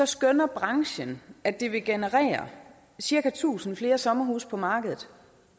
skønner branchen at det vil generere cirka tusind flere sommerhuse på markedet